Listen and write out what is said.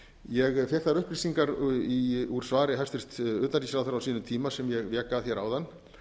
ég fékk þær upplýsingar úr svari hæstvirts utanríkisráðherra á sínum tíma sem ég vék að hér áðan